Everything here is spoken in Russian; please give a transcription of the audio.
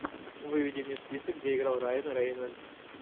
выведи мне список где играл райан рейнольдс